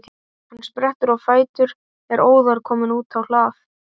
Hann sprettur á fætur og er óðar kominn út á hlað.